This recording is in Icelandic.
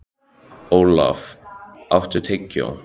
Olaf, áttu tyggjó?